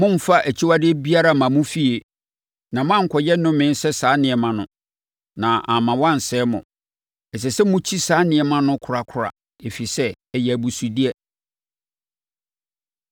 Mommfa akyiwadeɛ biara mma mo fie, na moankɔyɛ nnome sɛ saa nneɛma no, na amma wɔansɛe mo. Ɛsɛ sɛ mokyi saa nneɛma no korakora, ɛfiri sɛ, ɛyɛ abusudeɛ.